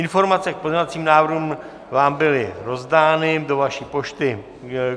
Informace k pozměňovacím návrhům vám byly rozdány do vaší pošty.